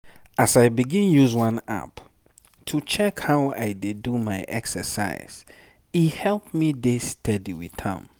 as i begin use one app to check how i dey do my exercise e help me dey steady with am.